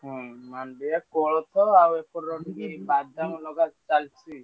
ହୁଁ ମାଣ୍ଡିଆ କୋଳଥ ଆଉ ଏପଟର ବାଦାମ ଲଗା ଚାଲିଛି।